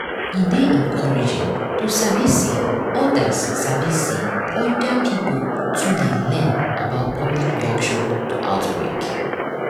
e dey encouraging to sabi say other sabi say other pipo too dey learn about public reaction to outbreak